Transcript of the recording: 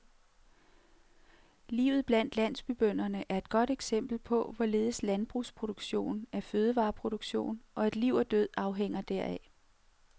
Livet blandt landsbybønderne er et godt eksempel på, hvorledes landbrugsproduktion er fødevareproduktion, og at liv og død afhænger deraf.